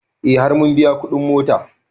E har mun biya kuɗin mota